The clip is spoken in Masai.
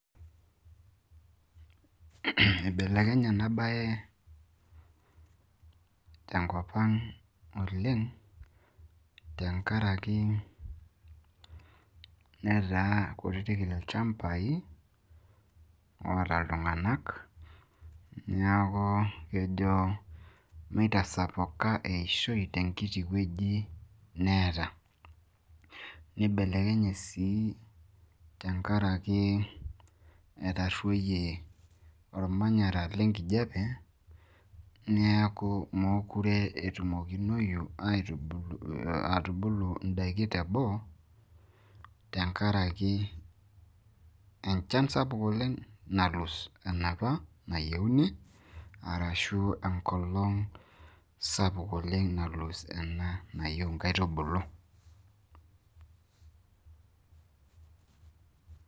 ibelekenye ena bae te nkop ag oleng' tenkaraki netaa kutitk ilchampai oota iltung'anak. niaku kitasapuka eishoi tenkiti wueji neeta, neibelekenye sii tenkaraki etasapuka ormanyara lenkijiape neeku, mookure etumokinoyu atubuu idaikin teboo, tenakraki enchan sapuk oleng nayienu. tenkaraki enkolong' sapuk oleng' nayieu inkaitubulu.